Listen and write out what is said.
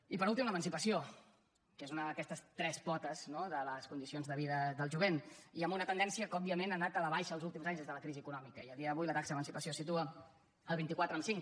i per últim l’emancipació que és una d’aquestes tres potes de les condicions de vida del jovent i amb una tendència que òbviament ha anat a la baixa els últims anys des de la crisi econòmica i a dia d’avui la taxa d’emancipació es situa a vint quatre amb cinc